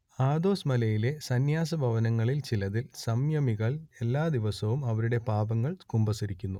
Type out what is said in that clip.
Athos മലയിലെ സന്യാസഭവനങ്ങളിൽ ചിലതിൽ സംയമികൾ എല്ലാ ദിവസവും അവരുടെ പാപങ്ങൾ കുമ്പസാരിക്കുന്നു